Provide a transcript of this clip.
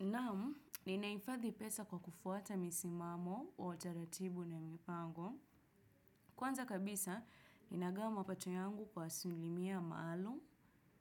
Naam, ninaifadhi pesa kwa kufuata misimamo wa taratibu na mipango. Kwanza kabisa, ninagawa mapato yangu kwa asilimia maalum,